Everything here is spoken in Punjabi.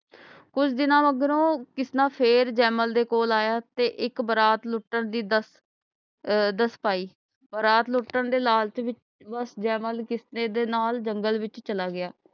ਕੁਛ ਦਿਨਾਂ ਮਗਰੋਂ ਕਿਸਨਾ ਫੇਰ ਜੇਮਲ ਦੇ ਕੋਲ ਆਇਆ ਤੇ ਇਕ ਬਰਾਤ ਲੁੱਟਣ ਦੀ ਦਸ ਅਹ ਦਸ ਪਾਈ ਬਰਾਤ ਲੁੱਟਣ ਦੇ ਲਾਲਚ ਵਿੱਚ ਜੈਮਲ ਕਿਸਨੇ ਦੇ ਨਾਲ ਜੰਗਲੇ ਵਿੱਚ ਚਲਾ ਗਿਆ